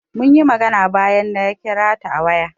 Munyi magana bayan na kira ta a waya.